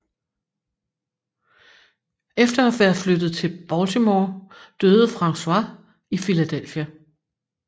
Efter at være flyttet til Baltimore døde François i Philadelphia